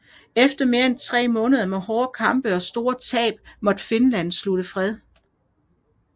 Efter mere end tre måneder med hårde kampe og store tab måtte Finland slutte fred